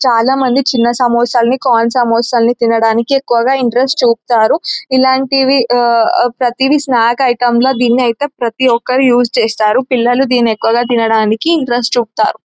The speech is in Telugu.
చాలామంది చిన్న సమోసాల్ని కార్న్ సమోసాల్ని తినడానికి ఎక్కువగా ఇంట్రెస్ట్ చూపుతారు ఇలాంటివి ఆహ్ ప్రతివి స్నాక్ ఐటమ్ లా దీన్నిఅయితే ప్రతి ఒక్కరూ యూస్ చేస్తారు పిల్లలు దీన్ని ఎక్కువగా తినడానికి ఇంట్రెస్ట్ చూపుతారు.